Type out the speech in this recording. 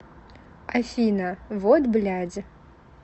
афина вот блядь